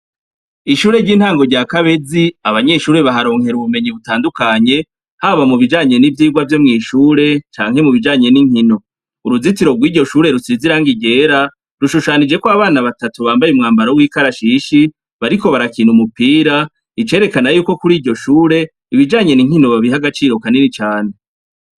Ishure ry'intango rya kabezi abanyeshure baharonkera ubumenyi butandukanye haba mu bijanye n'ivyirwa vyo mw'ishure canke mu bijanye n'inkino uruzitiro rw'iryo shure rusize irangi ryera rushushanijeko abana batatu bambaye umwambaro w'ikarashishi bariko barakina umupira icerekana yuko kuri iryo shure ibijanyen' inkino babiha agaciro kanini cane.